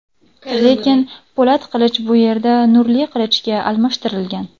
Lekin, po‘lat qilich bu yerda nurli qilichga almashtirilgan.